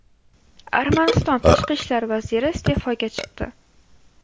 Armaniston tashqi ishlar vaziri iste’foga chiqdi.